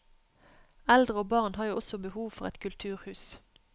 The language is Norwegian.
Eldre og barn har jo også behov for et kulturhus.